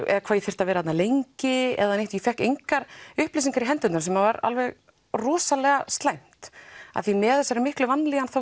eða hvað ég þyrfti að vera þarna lengi ég fékk engar upplýsingar í hendurnar sem var alveg rosalega slæmt af því með þessari miklu vanlíðan